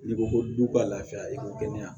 N'i ko ko du ka lafiya i ko kɛnɛya